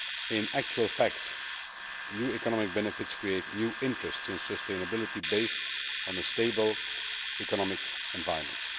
In actual fact, new economic benefits create new interests in sustainability based on a stable economic environment.